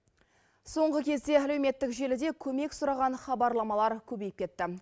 соңғы кезде әлеуметтік желіде көмек сұраған хабарламалар көбейіп кетті